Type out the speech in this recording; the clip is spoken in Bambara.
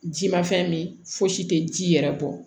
Ji ma fɛn min fosi tɛ ji yɛrɛ bɔ